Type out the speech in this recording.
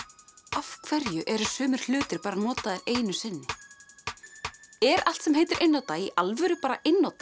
af hverju eru sumir hlutir bara notaðir einu sinni er allt sem heitir einnota í alvöru bara einnota